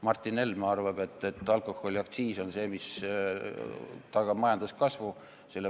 Martin Helme arvab, et alkoholiaktsiis on see, mille vähendamine tagab majanduskasvu.